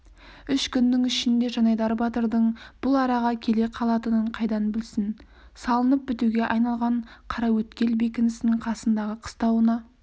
үш күннің ішінде жанайдар батырдың бұл араға келе қалатынын қайдан білсін салынып бітуге айналған қараөткел бекінісінің қасындағы қыстауына